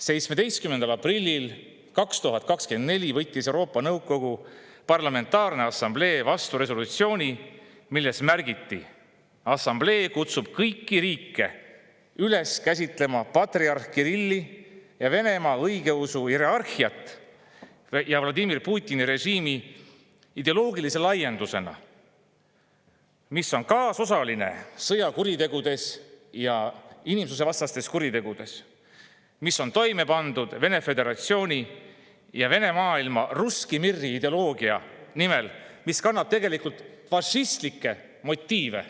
17. aprillil 2024 võttis Euroopa Nõukogu Parlamentaarne Assamblee vastu resolutsiooni, milles märgiti, et assamblee kutsub kõiki riike üles käsitlema patriarh Kirilli ja Venemaa õigeusu hierarhiat Vladimir Putini režiimi ideoloogilise laiendusena, mis on kaasosaline sõjakuritegudes ja inimsusvastastes kuritegudes, mis on toime pandud Vene föderatsiooni ja Vene maailma, russki mir'i ideoloogia nimel, mis kannab tegelikult fašistlikke motiive.